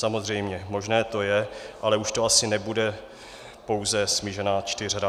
Samozřejmě možné to je, ale už to asi nebude pouze smíšená čtyřhra.